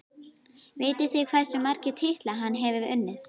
Vitið þið hversu marga titla hann hefur unnið?